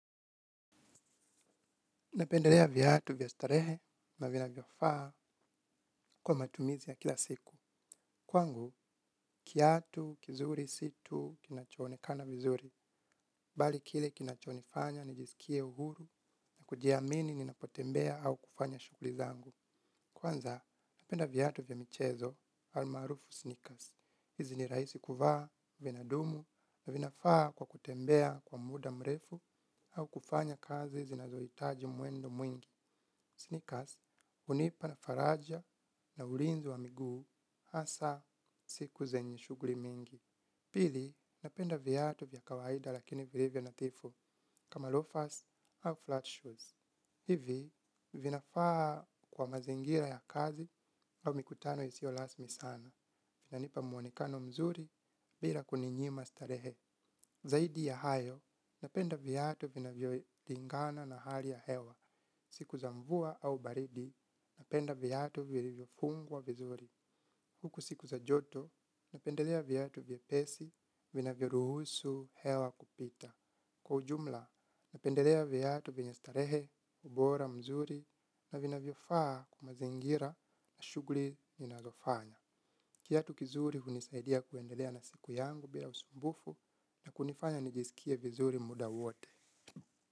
Napendelea viatu vya starehe, na vinavyofaa kwa matumizi ya kila siku. Kwangu, kiatu kizuri si tu kinachoonekana vizuri. Bali kile kinachonifanya, nijisikie uhuru, na kujiamini ninapotembea au kufanya shughuli zangu. Kwanza, napenda viatu vya michezo, almaarufu sneakers. Hizi ni rahisi kuvaa, vinadumu, na vinafaa kwa kutembea kwa muda mrefu, au kufanya kazi zinazohitaji mwendo mwingi. Sneakers, hunipa faraja na ulinzi wa miguu hasa siku zenye shughuli mingi. Pili, napenda viatu vya kawaida lakini vilivyo nadhifu kama loafers au flat shoes. Hivi, vinafaa kwa mazingira ya kazi au mikutano isiyo rasmi sana. Vinanipa mwonekano mzuri bila kuninyima starehe. Zaidi ya hayo, napenda viatu vinavyolingana na hali ya hewa. Siku za mvua au baridi, napenda viatu vilivyofungwa vizuri. Huku siku za joto, napendelea viatu vyepesi, vinavyoruhusu hewa kupita. Kwa ujumla, napendelea viatu vyenye starehe, bora mzuri, na vinavyofaa kwa mazingira na shughuli ninazofanya. Kiatu kizuri hunisaidia kuendelea na siku yangu bia usumbufu na kunifanya nijisikie vizuri muda wote.